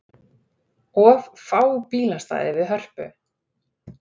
Of fá bílastæði við Hörpu